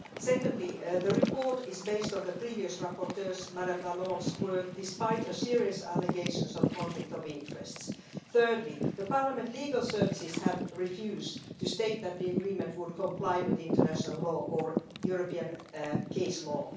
Secondly, the report is based on the previous rapporteur's Ms Lalonde's work, despite serious allegations of conflicts of interests. Thirdly, Parliament's legal services have refused to state that the agreement would comply with international law or European case law.